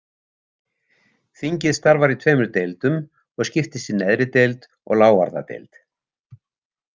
Þingið starfar í tveimur deildum og skiptist í neðri deild og lávarðadeild.